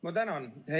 Ma tänan!